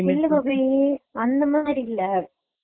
என்ன colour வேணு அந்தமாதிரி கடைள்ள